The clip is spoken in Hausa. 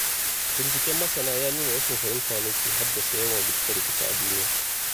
Binciken masana ya nuna rashin fahimta ne ke haddasa yawan rikice-rikice a duniya.